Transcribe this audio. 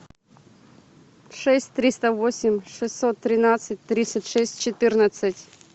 шесть триста восемь шестьсот тринадцать тридцать шесть четырнадцать